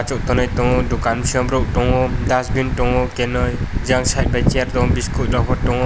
dukan ak tongo dukan sem borok tongo dustbin tongo kenui jang site by school rok bo tongo.